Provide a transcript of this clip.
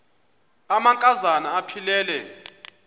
amanka zana aphilele